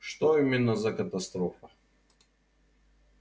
и что именно за катастрофа